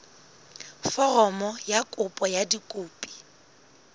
foromo ya kopo ka dikopi